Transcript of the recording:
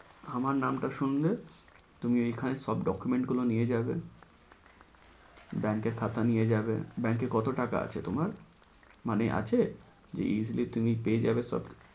আমার নামটা শুনলে, তুমি এইখানে সব document গুলো নিয়ে যাবে। bank এর খাতা নিয়ে যাবে, bank এ কত টাকা আছে তোমার মানে আছে এই যে তুমি পেয়ে যাবে।